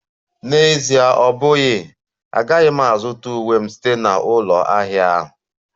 N'Ezie ọ bụghị, agaghị m azụta uwe m site na ụlọ ahịa ahụ